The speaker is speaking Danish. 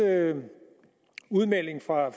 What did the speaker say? udmelding fra